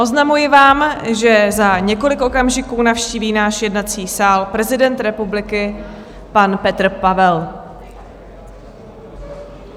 Oznamuji vám, že za několik okamžiků navštíví náš jednací sál prezident republiky pan Petr Pavel.